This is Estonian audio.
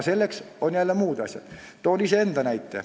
Toon näite iseenda kohta.